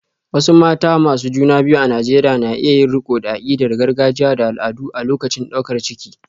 Wasu mata masu juna biyu a Najeriya na iya yin riko da akidar gargajiya da al'adu a lokacin daukar ciki.